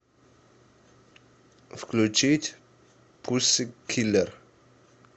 включить пуссикиллер